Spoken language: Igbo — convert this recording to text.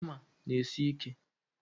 Hama n'esi ike